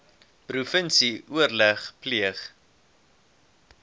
provinsie oorleg pleeg